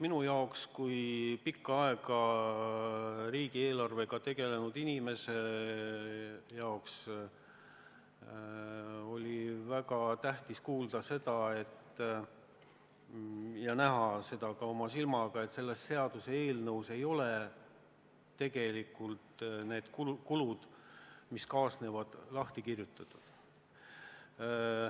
Minu jaoks kui pikka aega riigieelarvega tegelenud inimese jaoks oli väga mõjuv kuulda seda ja näha ka oma silmaga, et selles seaduseelnõus ei ole tegelikult need kulud, mis kaasnevad, lahti kirjutatud.